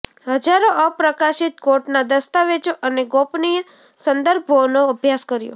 હજારો અપ્રકાશિત કોર્ટના દસ્તાવેજો અને ગોપનીય સંદર્ભોનો અભ્યાસ કર્યો